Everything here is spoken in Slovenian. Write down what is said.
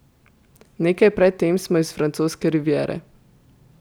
Nekaj pred tem smo iz Francoske riviere ...